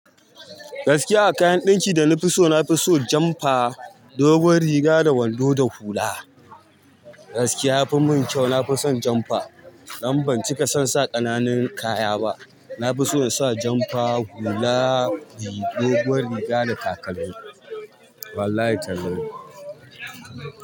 Gaskiya a kayan ɗinki da na fi so, na fi so janfa, dogon riga da wando da hula. Gaskiya ya fi mun kyau. Na fi son janfa dan ban cika son sa ƙananan kaya ba. Na fi so in sa janfa, hula, dogon riga da kakanni. Wallahi tallahi.